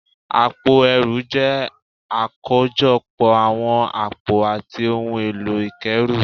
Àpò ẹrù jẹ́ àkójọpọ̀ àwọn àpò àti ohun èlò ìkẹ́rù